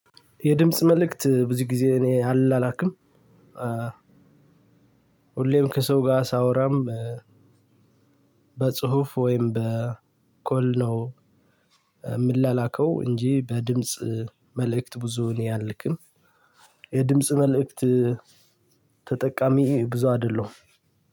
የድምጽ መልእክት ብዙ ጊዜ እኔ አልላላክም። ሁሌም ከሰው ጋር ሳወራም በጽሁፍ ወይም በኮል ነው የምላላከው እንጂ በድምጽ መልእክት ብዙ እኔ አልክም። የድምጽ መልእክት ተጠቃሚ ብዙ አይደለሁም።